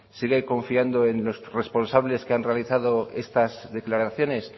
sigue confiando en los responsables que han realizado estas declaraciones